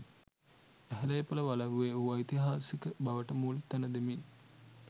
ඇහැළේපොළ වලව්වේ වූ ඓතිහාසික බවට මුල් තැන දෙමින්